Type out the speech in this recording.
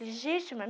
Legítima?